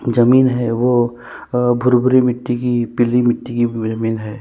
जमीन है वो अ भूरे-भूरे मिट्टी की पीली मिट्टी की भूरे मे हैं।